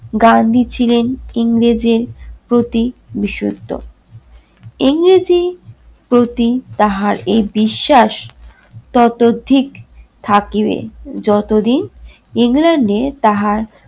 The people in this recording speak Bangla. গান্ধী ছিলেন ইংরেজের প্রতি বিশুদ্ধ। ইংরেজি প্রতি তাহার এ বিশ্বাস ততোধিক থাকিবে যতদিন england এ তাহার